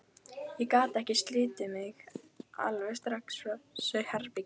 Ég gat ekki slitið mig alveg strax frá þessu herbergi.